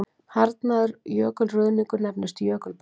Harðnaður jökulruðningur nefnist jökulberg.